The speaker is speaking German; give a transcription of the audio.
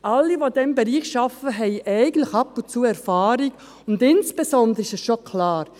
Alle, die in diesem Bereich arbeiten, haben eigentlich ab und zu Erfahrung und insbesondere ist schon klar: